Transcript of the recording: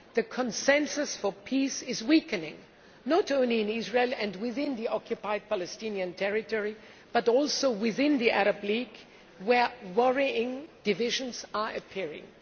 The consensus for peace is weakening, not only in Israel and within the occupied Palestinian territory, but also within the Arab League, where worrying divisions are appearing.